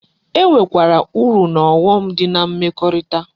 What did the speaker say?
E nwe kwara uru na ogho m di na mmekorita